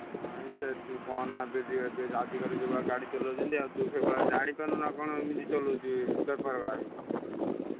ନାଇଁ ସେଠି କହନା ଏବେ ଯୋଉ ଏବେ ଆଜିକାଲି ଯୋଉଭଳିଆ ଗାଡି ଚଲଉଛନ୍ତି ଆଉ ତୁ ସେଭଳିଆ ଜାଣିପାରୁନୁ ନା କଣ ଏମିତି ଚଲଉଛୁ ବେପାରୁଆ ହେଇ।